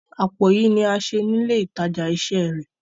Àpò yìí ní a ṣe ni ile ìtajà isẹ rẹ.